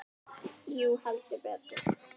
Jú, heldur betur